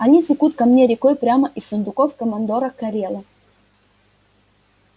они текут ко мне рекой прямо из сундуков командора корела